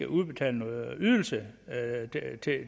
udbetale ydelser